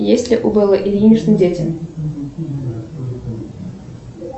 есть ли у беллы ильиничны дети